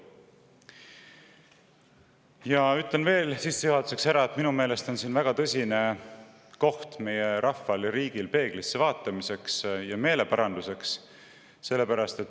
Sissejuhatuseks ütlen veel seda, et minu meelest on see koht, kus meie rahvas ja riik võiksid tõsiselt peeglisse vaadata, koht meeleparanduseks.